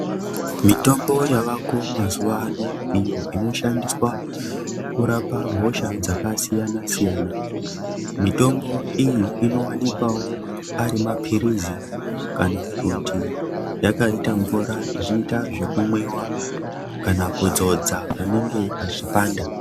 Mitombo yavako mazuva ano iyo inoshandiswa kurapa hosha dzakasiyana-siyana. Mitombo iyi inowanikwawo ari maphirizi kana kuti yakaita mvura ichiita zvekumwiwa kana kudzodza panenge pachipanda.